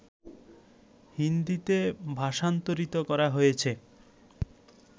হিন্দীতে ভাষান্তরিত করা হয়েছে